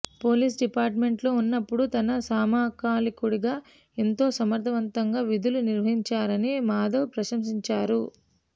police డిపార్ట్మెంట్లో ఉన్నప్పుడు తన సమకాలీకుడిగా ఎంతో సమర్థవంతంగా విధులు నిర్వర్తించారని మాధవ్ ప్రశంసించారు